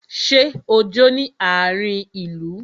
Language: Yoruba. Ṣé o jó ní àárin ìlú?